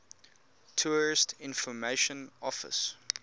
tourist information office